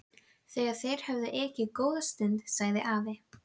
Þegar þeir höfðu ekið góða stund sagði afi